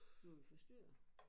Bliver vi forstyrret?